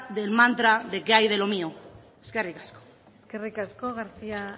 del mantra de qué hay de lo mío eskerrik asko eskerrik asko garcía